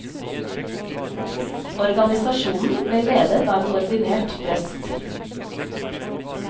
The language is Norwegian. Organisasjonen ble ledet av en ordinert prest.